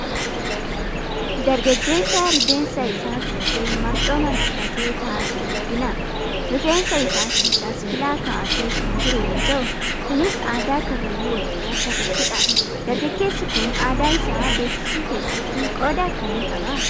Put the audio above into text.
Dargaggeessa rifeensa isaa filatee marxoo marxifatee taa'aa jiru argina. Rifeensa isaa keessas filaa kaa'atee kan jiru yoo ta'u Kunis aadaa karrayyuu Oromoo kan ibsu dha. Dargaggeessi kun aadaa isaa beeksisuu keessatti qooda akkamii qabaa ?